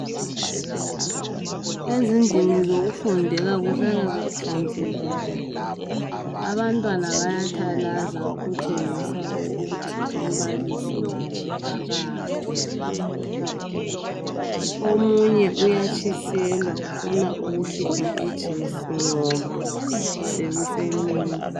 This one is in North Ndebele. Ezindlini zokufundela kuhlala kuhlanzekile, abantwana bayathalaza okutshengisa ukuthi umbalisi wabo akakho. Omunye uyatshiselwa ufuna ukukhipha ijesi ngoba sokusemini.